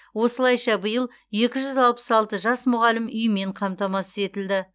осылайша биыл екі жүз алпыс алты жас мұғалім үймен қамтамасыз етілді